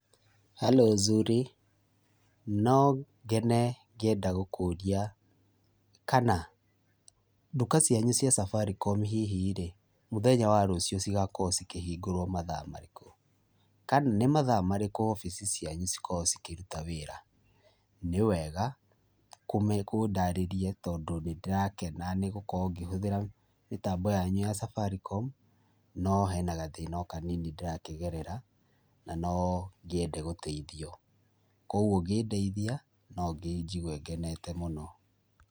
Harũ Zuri? No ngene ngĩenda gũkũria kana nduka cianyu cia Safaricom hihi-rĩ, mũthenya wa rũciũ cigakorwo cikĩhingũrwo mathaa marĩkũ. Kana nĩ mathaa marĩkũ obici cianyu cikoragwo cikĩruta wĩra. Nĩwega ũndarĩrie tondũ nĩndĩrakena nĩ gũkorwo ngĩhũthĩra mĩtambi yanyu ya Safaricom, no hena gathĩna o kanini ndĩrakĩgerera, na no ngĩende gũteithio. Kuoguo ũngĩndeithia no njigue ngenete mũno